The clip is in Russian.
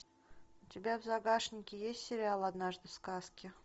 у тебя в загашнике есть сериал однажды в сказке